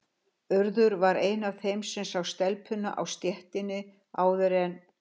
Urður var ein af þeim sem sá telpuna á stéttinni áður en